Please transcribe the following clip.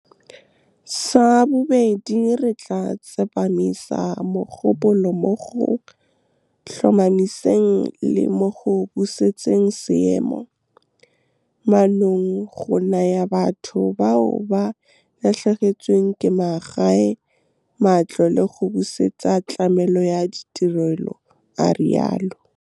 Sa bobedi, re tla tsepamisa mogopolo mo go tlhomamiseng le mo go busetseng seemo mannong, go naya batho bao ba latlhegetsweng ke magae matlo le go busetsa tlamelo ya ditirelo, a rialo. Sa bobedi, re tla tsepamisa mogopolo mo go tlhomamiseng le mo go busetseng seemo mannong, go naya batho bao ba latlhegetsweng ke magae matlo le go busetsa tlamelo ya ditirelo, a rialo.